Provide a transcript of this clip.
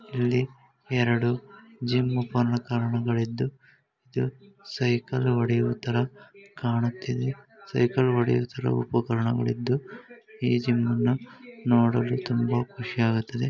ಇಲ್ಲಿ ಎರೆಡು ಜಿಮ್ ಕಾರಣಗಲಿದ್ದು ಇದು ಸೈಕಲ್ ಹೊಡಿಯುತ್ತರ ಕಾಣುತ್ತದೆ ಸೈಕಲ್ ಹೊಡಿಯೊತರ ಉಪಕರಣಗಲಿದ್ದು ಈ ಜಿಮ್ ಅನ್ನ ನೋಡಲು ತುಂಬಾ ಕುಶಿ ಹಾಗುತ್ತದೆ.